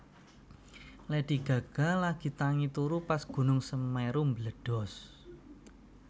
Lady Gaga lagi tangi turu pas gunung Semeru mbledhos